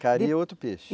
Cari é outro peixe?